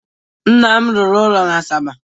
Nna m rụrụ ụlọ n'Asaba.